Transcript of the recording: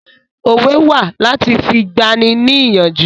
Òwe wà láti fi gbà ni ní ìyànjú